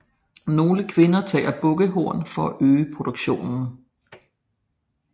Nogle kvinder tager bukkehorn for at øge produktionen